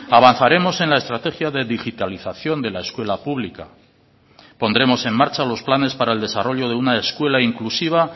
avanzaremos en la estrategia de digitalización de la escuela pública pondremos en marcha los planes para el desarrollo de una escuela inclusiva